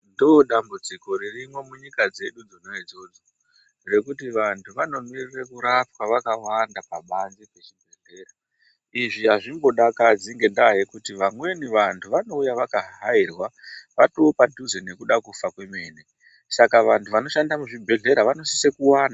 Ndoodambudziko ririmo munyika dzedu dzona idzodzo rekuti vantu vanomirire kurapwa vakawanda pabanzi pezvibhedhlera izvi azvimbodakadzi ngendaa yekuti vamweni vantu vanouya vaka hahairwa vatoopadhuze nekuda kufa kwemene saka vantu vanoshanda muzvibhedhlera vanosise kuwanda.